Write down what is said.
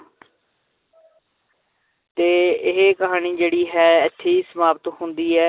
ਤੇ ਇਹ ਕਹਾਣੀ ਜਿਹੜੀ ਹੈ ਇੱਥੇ ਹੀ ਸਮਾਪਤ ਹੁੰਦੀ ਹੈ।